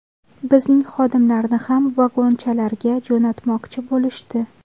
Bizning xodimlarni ham ‘vagonchalar’ga jo‘natmoqchi bo‘lishdi.